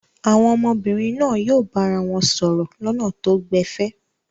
Àwọn ọmọbìnrin náà yóò bára wọn sọ̀rọ̀ lọ́nà tó gbẹ̀fẹ̀.